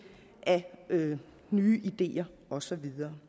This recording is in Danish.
af nye ideer og så videre